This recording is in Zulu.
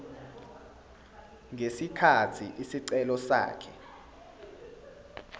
ngesikhathi isicelo sakhe